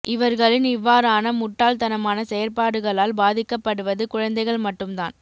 இவர்களின் இவ்வாறான முட்டாள் தனமான செயற்பாடுகளால் பாதிக்கப்படுவது குழந்தைகள் மட்டும் தான்